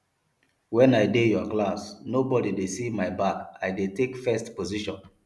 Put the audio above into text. wen i dey your class no body dey see my back i dey take first position